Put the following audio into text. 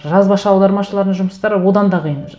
жазбаша аудармашылардың жұмыстары одан да қиын